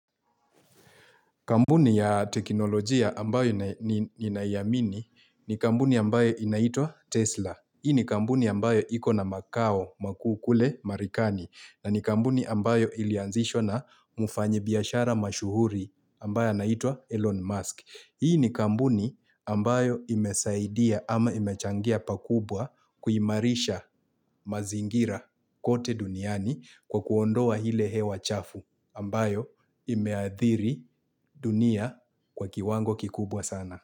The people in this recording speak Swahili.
Kampuni ya teknolojia ambayo ninaiamini ni kampuni ambayo inaitwa Tesla. Hii ni kampuni ambayo ikona makao makuu kule marekani na ni kampuni ambayo ilianzishwa na mfanyi biashara mashuhuri ambaye anaitwa Elon Musk. Hii ni kampuni ambayo imesaidia ama imechangia pakubwa kuimarisha mazingira kote duniani kwa kuondoa ile hewa chafu. Ambayo imeadhiri dunia kwa kiwango kikubwa sana.